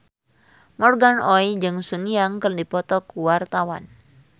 Morgan Oey jeung Sun Yang keur dipoto ku wartawan